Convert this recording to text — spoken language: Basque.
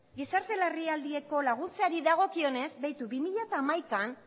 gizarte larrialdietarako laguntzari dagokionez begiratu bi mila hamaikan